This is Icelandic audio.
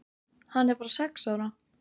Hann er bara sex ára.